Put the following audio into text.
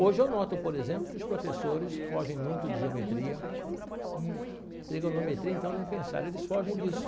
Hoje, eu noto, por exemplo, que os professores fogem muito de geometria, trigonometria, então, nem pensar, eles fogem disso.